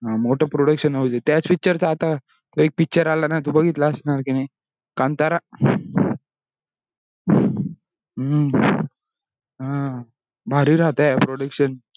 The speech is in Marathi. हा मोठा production house हे. त्याच picture चा आता एक picture आला ना तू बघितलं असणार की नाही kantara हम्म हा भारी राहता य production